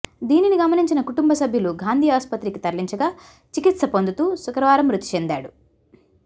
దీనిని గమనించిన కుటుంబ సభ్యులు గాంధీ ఆసుపత్రికి తరలించగా చికిత్స పొందుతూ శుక్రవారం మృతి చెందాడు